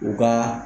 U ka